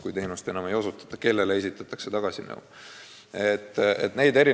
Kui teenust enam ei osutata, kellele esitatakse siis tagastamisnõue?